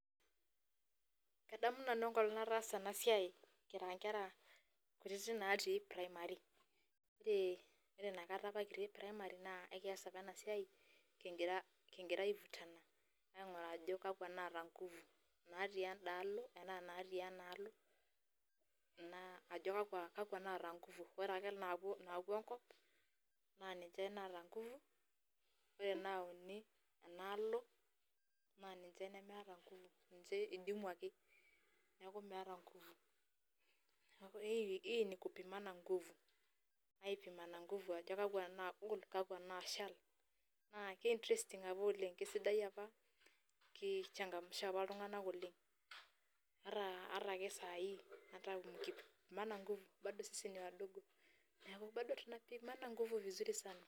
Adamu nanu eng'olong' nataasa ena siai kira nkera kutitik kitii primary, kore inakata apa kitii primary naa kekias apa ina siai king'ira king'ira ai vutana aing'uraa ajo kakwa naata nguvu natii enda alo ena naatii ena alo naa ajo kakwa naata nguvu. Ore ake naapuo naapuo enkop naa ninje naata nguvu, ore nauni ena alo naa ninje nemeeta nguvu ake idimwaki, neeku meeta nguvu. Neeku hii hii ni kupimana nguvu ai pimana nguvu ajo kakwa nagol, kakwa nashal. Naake ke interesting apa oleng' kesidai apa ki changamsha apa iltung'anak oleng' ata ake saai hata mkipimana nguvu bado sisi ni wadogo neeku bado tunapimana nguvu vizuri sana.